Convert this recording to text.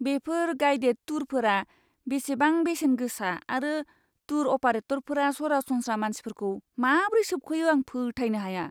बेफोर गाइडेड टुरफोरा बेसेबां बेसेन गोसा आरो टूर अपारेटरफोरा सरासनस्रा मानसिफोरखौ माब्रै सोबख'यो आं फोथायनो हाया!